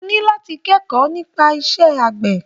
O ní láti kẹ́kọ̀ọ́ nípa iṣẹ́ àgbẹ̀.